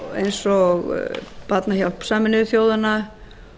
eins og barnahjálp sameinuðu þjóðanna